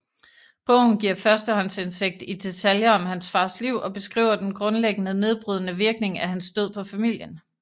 Bogen giver førstehåndsindsigt i detaljer om hans fars liv og beskriver den grundlæggende nedbrydende virkning af hans død på familien